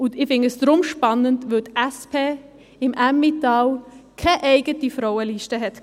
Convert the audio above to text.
Ich finde dies deshalb spannend, weil die SP im Emmental keine eigene Frauenliste hatte.